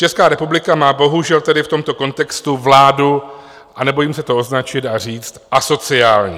Česká republika má bohužel tedy v tomto kontextu vládu - a nebojím se to označit a říct - asociální.